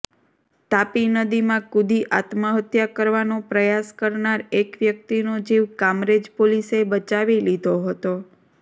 તાપી નદીમાં કૂદી આત્મહત્યા કરવાનો પ્રયાસ કરનાર એક વ્યક્તિનો જીવ કામરેજ પોલીસે બચાવી લીધો હતો